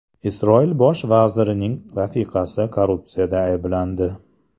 Isroil bosh vazirining rafiqasi korrupsiyada ayblandi.